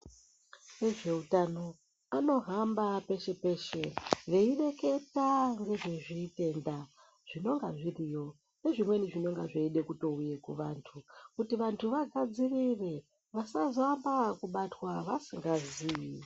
Vezveutano anohamba peshe peshe veireketa ngezvezvitenda zvinonga zviriyo nezvimweni zvinenge zveida kutouye kuvantu kuti vantu vagadzirire vasazoamba ngekubatwa vasingazii.